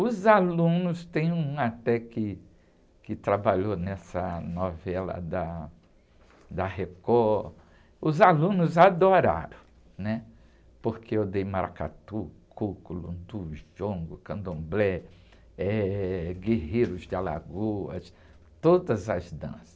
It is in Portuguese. Os alunos, tem um até que, que trabalhou nessa novela da, da Record, os alunos adoraram, né? Porque eu dei maracatu, coco, lundu, jongo, candomblé, eh, guerreiros de Alagoas, todas as danças.